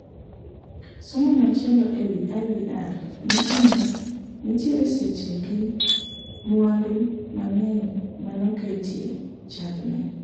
Somo machielo e wi IVR , nyiso ni nenitiere seche gi mwandu mang'eny manoketie chak ne